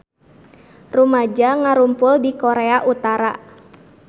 Rumaja ngarumpul di Korea Utara